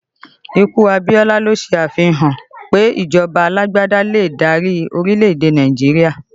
Ikú Abiola ló ṣe àfihàn pé ìjọba alágbádá lè dárí orílẹ̀ èdè Nàìjíríà